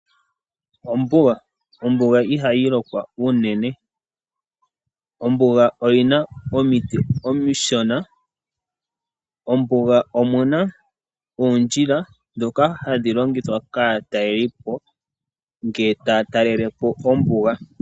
Ombuga, ombuga ihayi lokwa unene, ombuga oyina omiti omishona, ombuga omuna oondjila ndhoka hadhi longithwa kaatalelipo ngele taa talelepo ombuga.